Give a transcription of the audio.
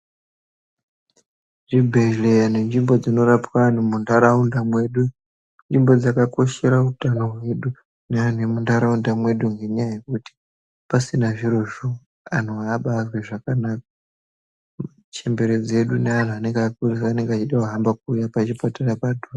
Zvibhedhleya nenzvimbo dzinorapwa antu muntaraunda mwedu, inzvimbo dzakakoshera utano hwedu nemuntaraunda mwedu. Ngenyaya yekuti pasina zvirozvo antu havabazwi zvakanaka. Chembere dzedu neantu anenge akurusa anenge achitohamba kuuya pachipatara padhuze.